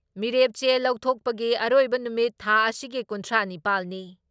ꯃꯤꯔꯦꯞ ꯆꯦ ꯂꯧꯊꯣꯛꯄꯒꯤ ꯑꯔꯣꯏꯕ ꯅꯨꯃꯤꯠ ꯊꯥ ꯑꯁꯤꯒꯤ ꯀꯨꯟꯊ꯭ꯔꯥ ꯅꯤꯄꯥꯜ ꯅꯤ ꯫